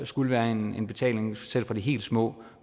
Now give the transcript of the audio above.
skulle være en betaling selv for de helt små